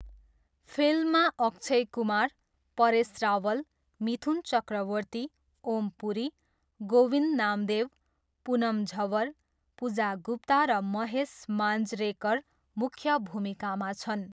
फिल्ममा अक्षय कुमार, परेस रावल, मिथुन चक्रवर्ती, ओम पुरी, गोविन्द नामदेव, पुनम झवर, पुजा गुप्ता र महेश मान्जरेकर मुख्य भूमिकामा छन्।